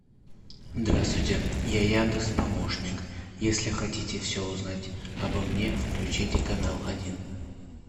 здравствуйте я яндекс помощник если хотите все узнать обо мне включите канал один